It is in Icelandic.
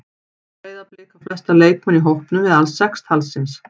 Breiðablik á flesta leikmenn í hópnum eða alls sex talsins.